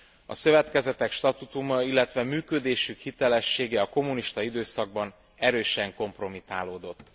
a szövetkezetek statútuma, illetve működésük hitelessége a kommunista időszakban erősen kompromitálódott.